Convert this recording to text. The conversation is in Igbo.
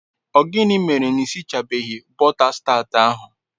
O gini mere n'isichabeghi bota tat ahu